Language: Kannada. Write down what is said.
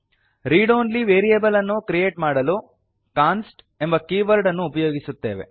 ರೀಡ್ ಒನ್ಲಿ ವೇರಿಯೇಬಲ್ ಅನ್ನು ಕ್ರಿಯೇಟ್ ಮಾಡಲು ಕಾನ್ಸ್ಟ್ ಎಂಬ ಕೀವರ್ಡ್ ಅನ್ನು ಉಪಯೋಗಿಸುತ್ತೇವೆ